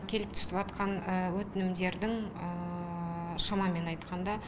келіп түсіватқан өтінімдердің шамамен айтқанда